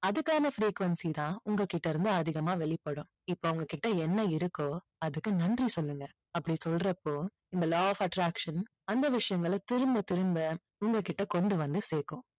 அதுக்கான frequency தான் உங்ககிட்ட இருந்து அதிகமா வெளிப்படும். இப்போ உங்ககிட்ட என்ன இருக்கோ அதுக்கு நன்றி சொல்லுங்க அப்படி சொல்றப்போ இந்த law of attraction அந்த விஷயங்களை திரும்ப திரும்ப உங்ககிட்ட கொண்டு வந்து சேர்க்கும்.